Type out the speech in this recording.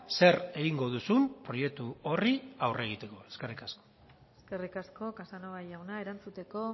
zer egingo duzun proiektu horri aurre egiteko eskerrik asko eskerrik asko casanova jauna erantzuteko